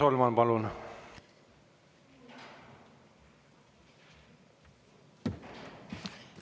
Riina Solman, palun!